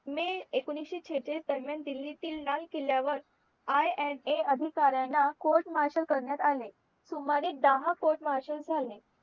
मे एकोणीशे शेहचलीस दरम्यान दिल्लीतील लाल किल्ल्यावर INA अधिकाऱ्यांना court marshal करण्यात आले सुमारे दहा court marshal झाले